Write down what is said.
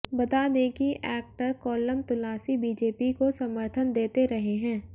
बता दें कि एक्टर कोल्लम तुलासी बीजेपी को समर्थन देते रहे हैं